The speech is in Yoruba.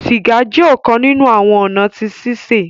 Siga jẹ ọkan ninu awọn ọna ti sise